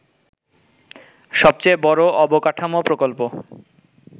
সবচেয়ে বড় অবকাঠামো প্রকল্প